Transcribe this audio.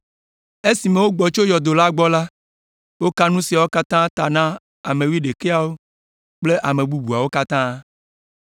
Esime wogbɔ tso yɔdo la gbɔ la, woka nu siawo katã ta na ame wuiɖekɛawo kple ame bubuawo katã.